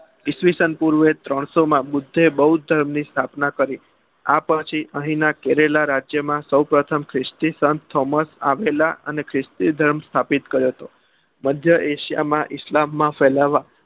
ઇસવિસન પૂર્વ ત્રણ સો માં બુધે બોધ્ધ્ ધર્મની સ્થાપના કરી આ પછી અહીના કેરેલા રાજ્યો માં સૌપ્રથમ ખ્રિસ્તી સમ થોમસ આવેલા અને સ્ત્ભ કર્યો હતો મધ્ય એશિયા માં ઇસ્લામ ફેલાવા